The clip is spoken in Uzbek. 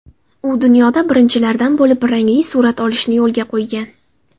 U dunyoda birinchilardan bo‘lib rangli surat olishni yo‘lga qo‘ygan.